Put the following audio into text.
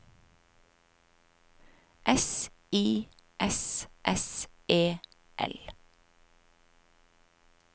S I S S E L